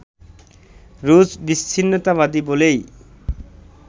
রুশ বিচ্ছিন্নতাবাদী বলেই